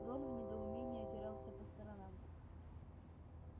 рон в недоумении озирался по сторонам